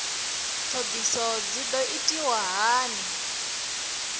ṱhoḓisio dzi ḓo itiswa hani